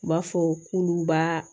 U b'a fɔ k'olu b'a